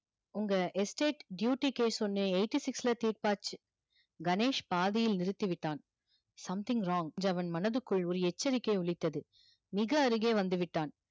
உங்க estate duty case ஒண்ணு eighty six ல தீர்ப்பாச்சு கணேஷ் பாதியில் நிறுத்திவிட்டான் something wrong என்று அவன் மனதுக்குள் ஒரு எச்சரிக்கை ஒலித்தது மிக அருகே வந்து விட்டான்